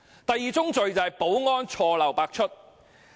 第二宗罪是保安錯漏百出。